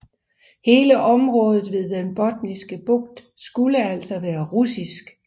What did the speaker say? Hele området ved den Botniske Bugt skulle altså være russisk